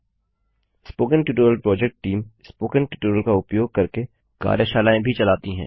spoken tutorial project team spoken tutorial का उपयोग करके कार्यशालाएँ भी चलाती है